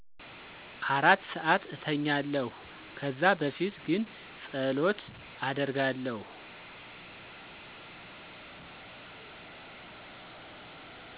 4 ሰዓት እተኛለሁ ከዛ በፊት ግን ፀሎት አደርጋለሁ።